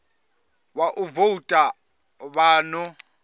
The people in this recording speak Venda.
wa u voutha vha ḓo